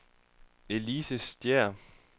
Elise Stæhr